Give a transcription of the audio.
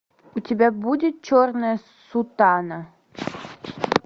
у тебя будет черная сутана